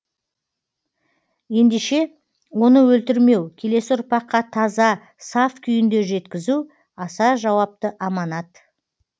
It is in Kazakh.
ендеше оны өлтірмеу келесі ұрпаққа таза саф күйінде жеткізу аса жауапты аманат